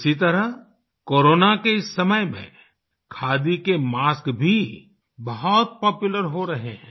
इसी तरह कोरोना के समय में खादी के मास्क भी बहुत पॉपुलर हो रहे हैं